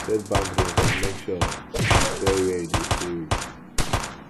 set boundaries and make sure you tell wey you de stay wit